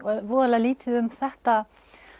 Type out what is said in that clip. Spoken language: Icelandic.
voðalega lítið um þetta